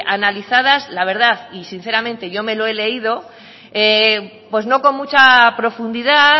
analizadas la verdad y sinceramente yo me lo he leído pues no con mucha profundidad